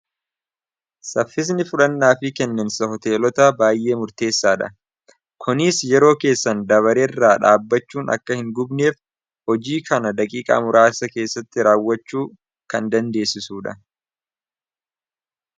Saffisni fudhannaa fi kenniinsa hoteelota baay'ee murteessaa dha kuniis yeroo keessan dabareeirraa dhaabbachuun akka hin gubneef hojii kana daqiiqaa muraasa keessatti raawwachuu kan dandeessisuudha.